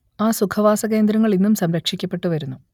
ആ സുഖവാസകേന്ദ്രങ്ങൾ ഇന്നും സംരക്ഷിക്കപ്പെട്ടു വരുന്നു